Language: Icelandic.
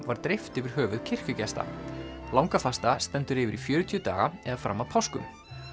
var dreift yfir höfuð kirkjugesta langafasta stendur yfir í fjörutíu daga eða fram að páskum